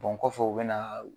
kɔfɛ, u be na